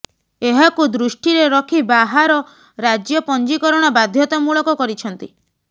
ଏହାକୁ ଦୃଷ୍ଟିରେ ରଖି ବାହାର ରାଜ୍ୟ ପଞ୍ଜୀକରଣ ବାଧ୍ୟତାମୂଳକ କରିଛନ୍ତି